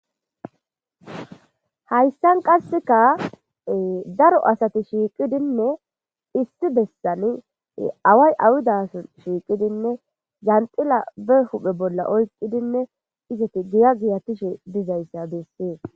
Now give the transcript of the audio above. hayssan qasseka daro asati shiiqidinne issi bessani away awudason shiiqidinne janxila be huphe bolla oyqidinne izati giya giyatishe dizayssa bessee